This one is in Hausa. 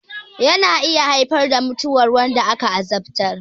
Yana iya haifar da mutuwar wanda aka azabtar